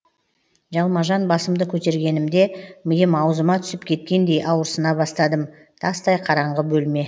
жалма жан басымды көтергенімде миым аузыма түсіп кеткендей ауырсына бастадым тастай қараңғы бөлме